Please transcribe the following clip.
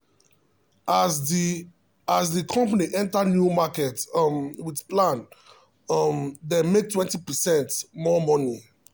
as the as the company enter new market um with plan um dem make 20 percent more money.